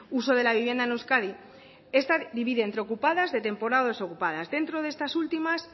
uso de la vivienda en euskadi esta divide entre ocupadas de temporal o desocupadas dentro de estas últimas